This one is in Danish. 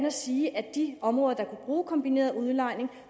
og sige at de områder der kunne bruge kombineret udlejning